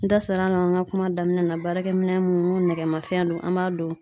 N da sera an ma an ka kuma daminɛ na baarakɛ minɛn mun n'u nɛgɛmafɛn don, an b'a don